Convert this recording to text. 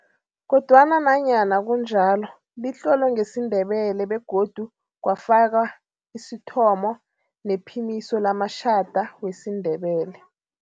Kodwana nanyana kunjalo, litlolwe ngesiNdebele begodu kwafakwa isithomo nephimiso lamatjhada wesiNdebele.